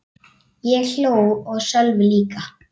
Ég hló og Sölvi líka.